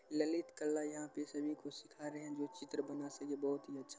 ललित कला यहाँ पर सब ही को सीखा रहे है जो चित्र बना सब ही बहुत ही अच्छा--